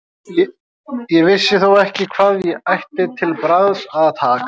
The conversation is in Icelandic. Ég vissi þó ekki hvað ég ætti til bragðs að taka.